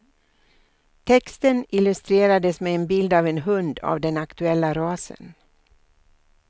Texten illustrerades med en bild av en hund av den aktuella rasen.